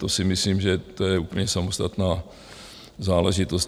To si myslím, že to je úplně samostatná záležitost.